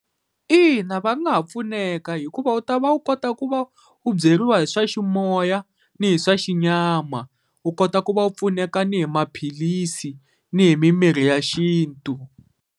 Ina va nga ha pfuneka hikuva u ta va u kota ku va u byeriwa hi swa ximoya ni hi swa xinyama, u kota ku va u pfuneka ni hi maphilisi ni hi mimirhi ya xintu.